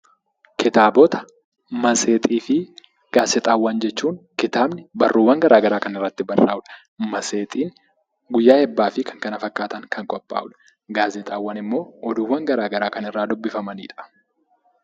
Kitaabota matseetii fi gaazexaawwan jechuun kitaabni barruuwwan garagaraa kan irratti barraa'udha. Matseetiin guyyaa eebbaa fi kan kana fakkaatan kan qophaa'uudha. Gaazexaawwan immoo oduuwwan garagaraa kan irraa dubbifamanidha.